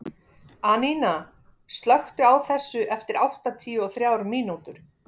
Anína, slökktu á þessu eftir áttatíu og þrjár mínútur.